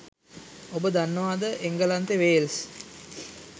ඔබ දන්නවද එංගලන්තෙ වේල්ස්